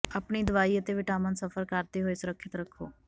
ਆਪਣੀ ਦਵਾਈ ਅਤੇ ਵਿਟਾਮਿਨ ਸਫ਼ਰ ਕਰਦੇ ਹੋਏ ਸੁਰੱਖਿਅਤ ਰੱਖੋ